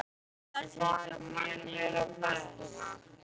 Ætliði að setja manninn í plastpoka?